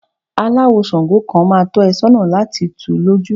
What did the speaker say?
Aláwò ṣàǹgó kan máa tọ́ ẹ sọ́nà lati tù ú lójú.